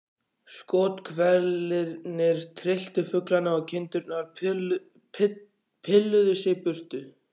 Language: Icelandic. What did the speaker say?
Skothvellirnir trylltu fuglana og kindurnar pilluðu sig burtu.